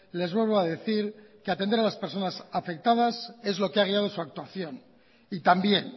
les vuelvo a decir que atender a las personas afectadas es lo que ha quedado de su actuación y también